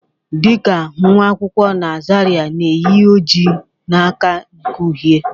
Dị ka nwa akwụkwọ na Zaria na-eyi oji na aka nke uhie